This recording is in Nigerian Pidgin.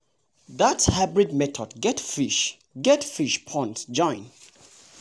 that hybrid method get fish get fish pond join.